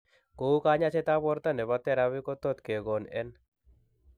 Kou kanyaiset ab borto nebo therapy kotot kegon en